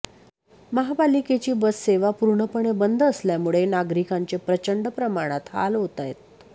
महापालिकेची बस सेवा पुर्णपणे बंद असल्यामुळे नागरिकांचे प्रचंड प्रमाणात हाल होत आहे